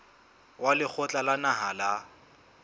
wa lekgotla la naha la